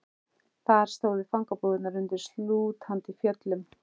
Þar stóðu fangabúðirnar undir slútandi fjöllum.